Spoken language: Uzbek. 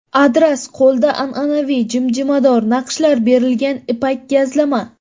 Adras – qo‘lda an’anaviy jimjimador naqshlar berilgan ipak gazlama.